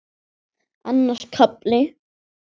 Annar kafli